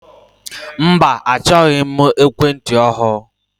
Mba achọghị m ekwentị ọhụụ.